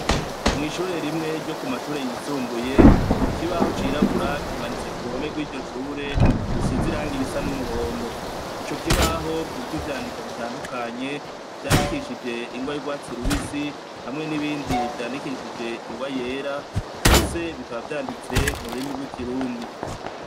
Mw'ishure rimwe ryo k'umashure yisumbuye, ikibaho c'irabura kimanitse ku ruhome rw'iryo shure rusize irangi risa n'umuhondo. Ico kibaho kiriko ivyandiko bitandukanye, vyandikishije ingwa y'urwatsi rubisi hamwe n'ibindi vyandikishije ingwa y'era, vyose bikaba vyanditse mu rurimi rw'ikirundi.